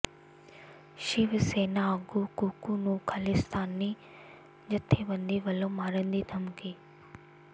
ਸ਼ਿਵ ਸੈਨਾ ਆਗੂ ਕੁੱਕੂ ਨੂੰ ਖਾਲਿਸਤਾਨੀ ਜਥੇਬੰਦੀ ਵੱਲੋਂ ਮਾਰਨ ਦੀ ਧਮਕੀ